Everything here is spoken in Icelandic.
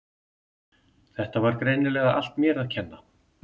Þetta var greinilega allt mér að kenna.